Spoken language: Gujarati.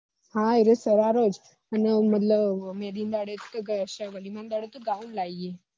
હા એ સરારો જ અને મતલબ મેહંદી ના દાડે ઘાઉન લઇ હૈ